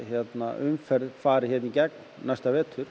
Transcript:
umferð fari hérna í gegn næsta vetur